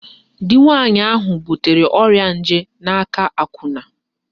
Di nwaanyị ahụ butere ọrịa nje n'aka akwụna